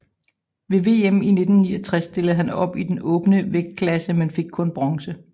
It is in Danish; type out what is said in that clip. Ved VM i 1969 stillede han op i den åbne vægtklasse men fik kun bronze